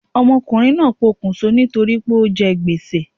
Ọmọ ọkunrin naa pokùn so ni tori pe o jẹ gbèsè